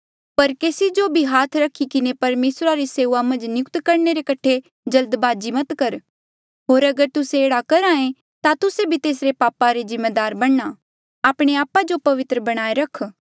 पर केसी जो भी हाथ रखी किन्हें परमेसरा री सेऊआ मन्झ नियुक्त करणे रे कठे जल्दबाजी मत कर होर अगर तुस्से एह्ड़ा करहे ता तुस्से भी तेसरे पापा रे जिम्मेदार बणना आपणे आपा जो पवित्र बणाए रख